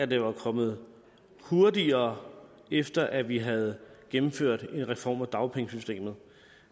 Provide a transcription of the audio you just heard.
det var kommet hurtigere efter at vi havde gennemført en reform af dagpengesystemet